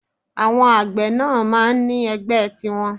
Àwọn àgbẹ̀ náà máa ń ní ẹgbẹ́ tiwọn